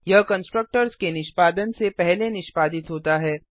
यह कंस्ट्रक्टर्स के निष्पादन से पहले निष्पादित होता है